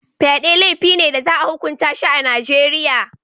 Fyade laifi ne da za a hukunta shi a Najeriya.